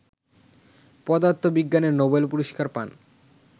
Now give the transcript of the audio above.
পদার্থবিজ্ঞানে নোবেল পুরস্কার পান